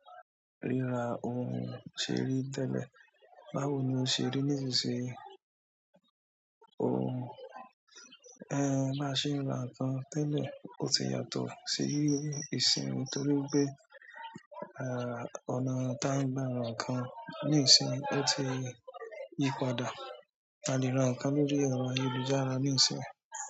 Rírà ohun ṣe rí tẹ́lẹ̀, báwo ni o ṣe rí nísinsìnyí? Ohun ẹ́ má ṣe rà nǹkan tẹ́lẹ̀, ó ti yàtọ̀ sí ìsínyi torí pé, ọ̀nà tí a ń gbà ra nǹkan níìsín ó ti yípadà, a lè ra nǹkan lórí ẹ̀rọ ayélujára níìsín.